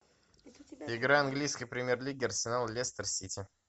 игра английской премьер лиги арсенал лестер сити